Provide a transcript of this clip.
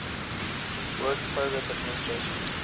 works progress administration